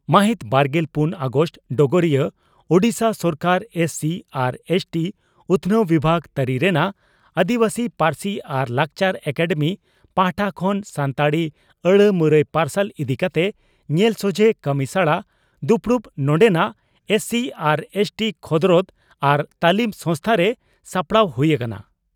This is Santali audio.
ᱢᱟᱹᱦᱤᱛ ᱵᱟᱨᱜᱮᱞ ᱯᱩᱱ ᱚᱜᱟᱥᱴ (ᱰᱚᱜᱚᱨᱤᱭᱟᱹ) ᱺ ᱳᱰᱤᱥᱟ ᱥᱚᱨᱠᱟᱨ ᱮᱥᱹᱥᱤᱹ ᱟᱨ ᱮᱥᱹᱴᱤᱹ ᱩᱛᱷᱱᱟᱹᱣ ᱵᱤᱵᱷᱟᱜᱽ ᱛᱟᱹᱨᱤ ᱨᱮᱱᱟᱜ ᱟᱹᱫᱤᱵᱟᱹᱥᱤ ᱯᱟᱹᱨᱥᱤ ᱟᱨ ᱞᱟᱠᱪᱟᱨ ᱮᱠᱟᱰᱮᱢᱤ ᱯᱟᱦᱴᱟ ᱠᱷᱚᱱ ᱥᱟᱱᱛᱟᱲᱤ ᱟᱹᱲᱟᱹ ᱢᱩᱨᱟᱹᱭ ᱯᱟᱨᱥᱟᱞ ᱤᱫᱤ ᱠᱟᱛᱮ ᱧᱮᱞ ᱥᱚᱡᱷᱮ ᱠᱟᱹᱢᱤᱥᱟᱲᱟ ᱫᱩᱯᱲᱩᱵ ᱱᱚᱰᱮᱱᱟᱜ ᱮᱥᱹᱥᱤᱹ ᱟᱨ ᱮᱥᱹᱴᱤᱹ ᱠᱷᱚᱫᱽᱨᱚᱫᱽ ᱟᱨ ᱛᱟᱹᱞᱤᱢ ᱥᱚᱝᱥᱛᱷᱟᱨᱮ ᱥᱟᱯᱲᱟᱣ ᱦᱩᱭ ᱟᱠᱟᱱᱟ ᱾